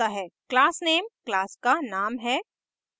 classname class का name है